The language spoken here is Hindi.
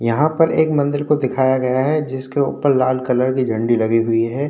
यहाँ पर एक मंदिर को दिखाया गया है जिसके उपर लाल कलर की झंडी लगी हुई है।